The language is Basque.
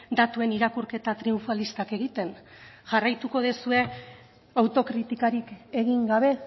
datuen irakurketa triunfalistak egiten jarraituko duzue autokritikarik egin gabe